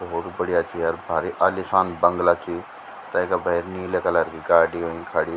भौत ही बढ़िया च यार भारी आलिशान बंगला च तैका भैर नीला कलर की गाडी हुई खड़ीं।